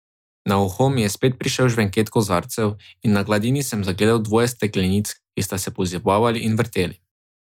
Na uho mi je spet prišel žvenket kozarcev in na gladini sem zagledal dvoje steklenic, ki sta se pozibavali in vrteli.